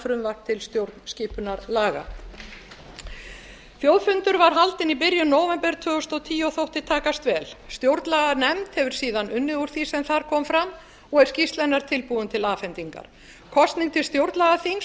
frumvarp til stjórnarskipunarlaga þjóðfundur var haldinn í byrjun nóvember tvö þúsund og tíu og þótti takast vel stjórnlaganefnd hefur síðan unnið úr því sem þar kom fram og er skýrsla hennar tilbúin til afhendingar kosning til stjórnlagaþings